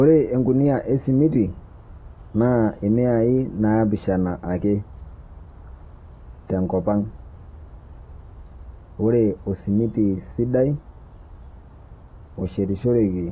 Ore engunia e simitii na miai napishana ake te nkopang. Ore osimiti sidai oshetishoroki